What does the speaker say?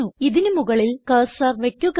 ഇതിന് മുകളിൽ കർസർ വയ്ക്കുക